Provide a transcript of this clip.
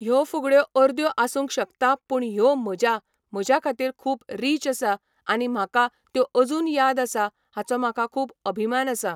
ह्यो फुगड्यो अर्द्यो आसूंक शकता पूण ह्यो म्हज्या म्हज्या खातीर खूब रीच आसा आनी म्हाका त्यो अजून याद आसा हाचो म्हाका खूब अभिमान आसा.